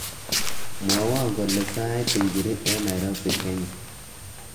Mwowo kole sait ingiri eng Nairobi, Kenya